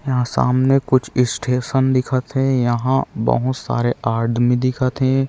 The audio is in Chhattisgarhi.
यहाँ सामने कुछ स्टेशन दिखत हे यहाँ बहुत सारे आदमी दिखत हे।